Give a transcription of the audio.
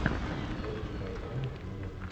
включить сериал пустая корона сезон один